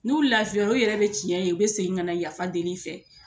N'u lafiyara u yɛrɛ bɛ tiɲɛ ye u bɛ segin ka na yafa deli i fɛ